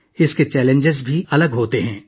اس کے چیلنجز بھی مختلف ہوتے ہیں